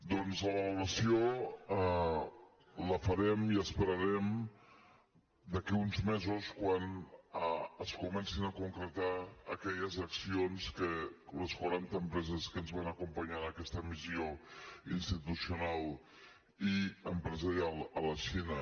doncs la valoració la farem i esperarem d’aquí a uns mesos quan es comencin a concretar aquelles accions que les quaranta empreses que ens van acompanyar en aquesta missió institucional i empresarial a la xina